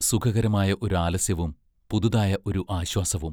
സുഖകരമായ ഒരു ആലസ്യവും, പുതുതായ ഒരു ആശ്വാസവും.